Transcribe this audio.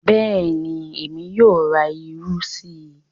Bẹ́ẹ̀ni, Èmi yóò rà ìrù sí.